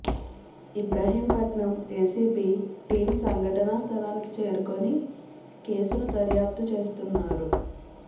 Ibrahimpatnam ACP team సంఘటనా స్థలానికి చేరుకొని కేసును దర్యాప్తు చేస్తున్నారు